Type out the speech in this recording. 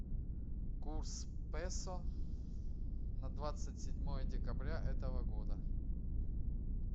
курс песо на двадцать седьмое декабря этого года